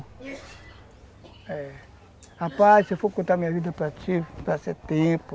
É, rapaz, se eu for contar minha vida para ti, vai ser tempo.